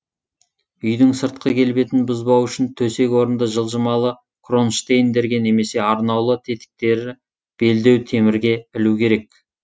үйдің сыртқы келбетін бұзбау үшін төсек орынды жылжымалы кронштейндерге немесе арнаулы тетіктері белдеу темірге ілу керек